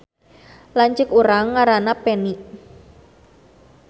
Lanceuk urang ngaranna Peni